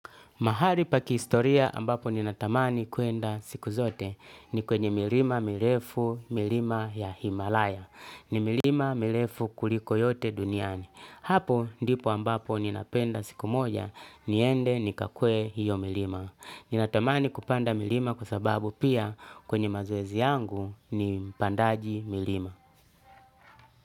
Mahari pa kistoria ambapo ninatamani kuenda siku zote ni kwenye milima mirefu milima ya Himalaya. Ni milima mirefu kuliko yote duniani. Hapo ndipo ambapo ninapenda siku moja niende nikakuwe hiyo milima. Ninatamani kupanda milima kwa sababu pia kwenye mazoezi yangu ni pandaji milima.